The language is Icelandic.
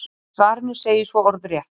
Í svarinu segir svo orðrétt: